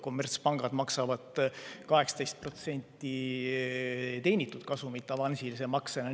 Kommertspangad maksavad 18% teenitud kasumilt avansilise maksena.